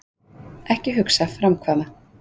Ekki hugsa, framkvæma.